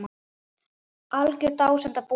Algjör dásemd að búa hérna.